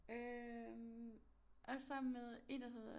Øh og sammen med en der hedder